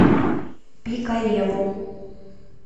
пикалево